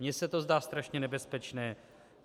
Mně se to zdá strašně nebezpečné.